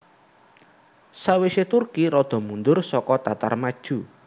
Sawise Turki rada mundur suku Tatar maju